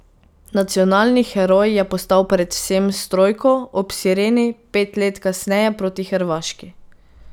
Nacionalni heroj je postal predvsem s trojko ob sireni pet let kasneje proti Hrvaški.